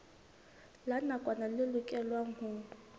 la nakwana le lokelwang ho